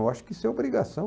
Eu acho que isso é obrigação.